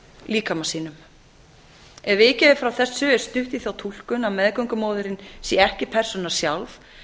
líkama sínum ef vikið er frá þessu er stutt í þá túlkun að meðgöngumóðirin sé ekki persóna sjálf